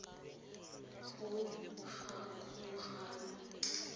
kgogakgogano